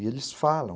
E eles falam.